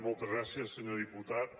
moltes gràcies senyor diputat